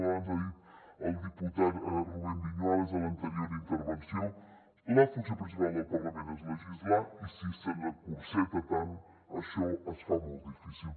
abans ho ha dit el diputat rubén viñuales a l’anterior intervenció la funció principal del parlament és legislar i si se l’encotilla tant això es fa molt difícil